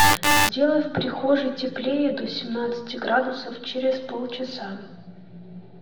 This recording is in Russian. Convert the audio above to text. сделай в прихожей теплее до семнадцати градусов через полчаса